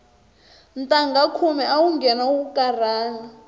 ntangha khume awu nghena u karhala